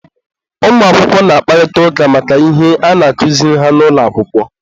ụmụakwụkwọ na-akparịta ụka maka ihe a na-akụziri ha n'ụlọ akwụkwọ.